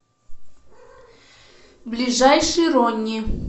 ближайший ронни